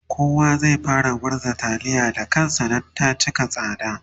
kowa zai fara murza taliya Da kansa Dan ta cika tsada